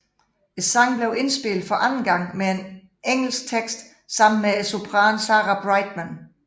Sangen blev indspillet for anden gang med engelsk tekst sammen med sopranen Sarah Brightman